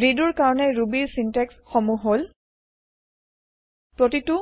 redo ৰ কাৰনে Rubyৰ ছিন্তেক্স সমুহ হল প্ৰতিতো